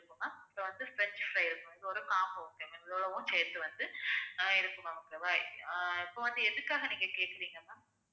so வந்து french fry இருக்கும் இது வந்து combo okay இவ்வளவும் சேர்த்து வந்து ஆஹ் இருக்கும் ma'am okay வா இப்ப வந்து எதுக்காக நீங்க கேக்குறீங்க ma'am